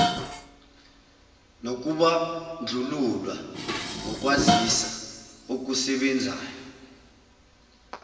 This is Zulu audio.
nokubandlululwa ngokwazisa okusebenzayo